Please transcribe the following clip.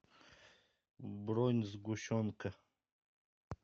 бронь сгущенка